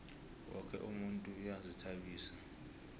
woke umuntu uyazihtabisa